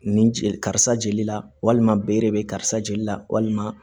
Nin jeli karisa jeli la walima bere be karisa jeli la walima